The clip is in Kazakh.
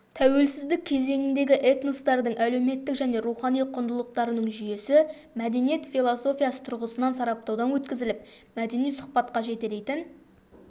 тәуелсіздік кезеңіндегі этностардың әлеуметтік және рухани құндылықтарының жүйесі мәдениет философиясы тұрғысынан сараптаудан өткізіліп мәдени сұхбатқа жетелейтін